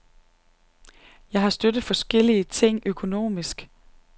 Jeg har støttet forskellige ting økonomisk.